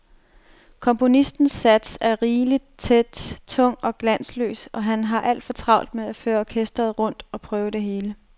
Komponistens sats er rigeligt tæt, tung og glansløs, og han har alt for travlt med at føre orkestret rundt og prøve det hele.